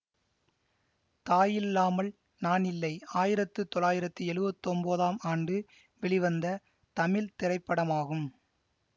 தாயில்லாமல் நானில்லை ஆயிரத்து தொள்ளாயிரத்தி எழுவத்தி ஒன்பதாம் ஆண்டு வெளிவந்த தமிழ் திரைப்படமாகும்